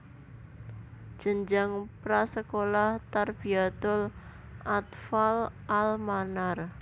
Jenjang pra sekolah Tarbiyatul Athfaal al Manar